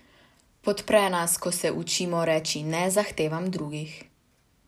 Podpre nas, ko se učimo reči ne zahtevam drugih.